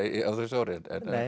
á þessu ári en